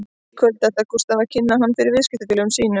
Í kvöld ætlar Gústaf að kynna hann fyrir viðskiptafélögum sínum